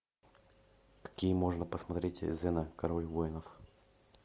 какие можно посмотреть зена король воинов